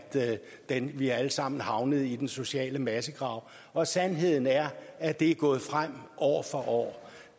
at vi alle sammen havnede i den sociale massegrav og sandheden er at det er gået fremad år for år